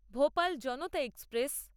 Bhopal Janata express